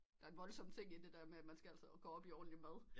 Der er en voldsom ting i det der at man skal altså gå op i ordentlig mad